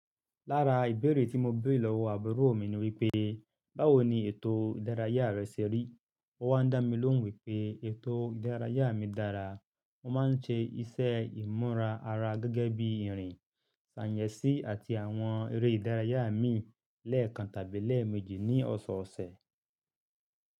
Lára ìbéèrè tí mo béèrè lọ́wọ́ àbúrò mi ni wípé, báwo ni ètò ìdárayá rẹ ṣe rí? Ó wá ń dá mi lóhùn wípé ètò ìdárayá mi dára, mo má ń ṣe iṣẹ́ ìmúra ara gẹ́gẹ́ bí ìrìn, sàǹyẹ̀sí àti àwọn eré ìdárayá mi lẹ́ẹ̀kan tàbí lẹ́ẹ̀mejì ní ọ̀sọ̀ọ̀sẹ̀.